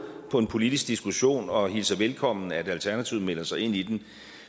på en politisk diskussion og hilser velkommen at alternativet melder sig ind i den